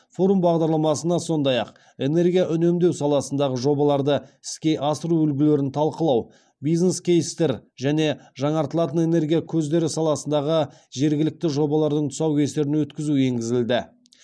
форум бағдарламасына сондай ақ энергия үнемдеу саласындағы жобаларды іске асыру үлгілерін талқылау бизнес кейстер және жаңартылатын энергия көздері саласындағы жергілікті жобалардың тұсаукесерін өткізу енгізілді